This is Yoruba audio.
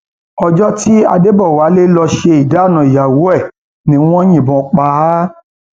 ọjọ tí adébọwálé lọọ ṣe ìdáná ìyàwó ẹ ni wọn yìnbọn pa á pa á